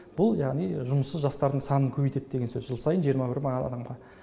бұл яғни жұмыссыз жастардың санын көбейтеді деген сөз жыл сайын жиырма бір мың адамға